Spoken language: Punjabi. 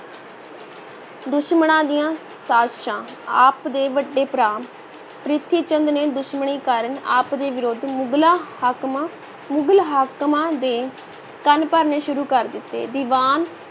ਦੁਸ਼ਮਣਾਂ ਦੀਆਂ ਸਾਜਸ਼ਾਂ, ਆਪ ਦੇ ਵੱਡੇ ਭਰਾ ਪ੍ਰਿਥੀ ਚੰਦ ਨੇ ਦੁਸ਼ਮਣੀ ਕਾਰਨ ਆਪ ਦੇ ਵਿਰੁੱਧ ਮੁਗਲਾਂ ਹਾਕਮਾਂ, ਮੁਗਲ ਹਾਕਮਾਂ ਦੇ ਕੰਨ ਭਰਨੇ ਸ਼ੁਰੂ ਕਰ ਦਿੱਤੇ, ਦੀਵਾਨ